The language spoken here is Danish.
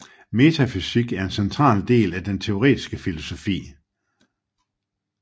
Metafysik er en central del af den teoretiske filosofi